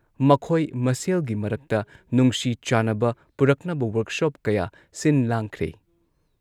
ꯃꯈꯣꯏ ꯃꯁꯦꯜꯒꯤ ꯃꯔꯛꯇ ꯅꯨꯡꯁꯤ ꯆꯥꯟꯅꯕ ꯄꯨꯔꯛꯅꯕ ꯋꯥꯔꯛꯁꯣꯞ ꯀꯌꯥ ꯁꯤꯟꯂꯥꯡꯈ꯭ꯔꯦ ꯫